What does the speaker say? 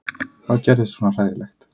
Hvað gerðist svona hræðilegt?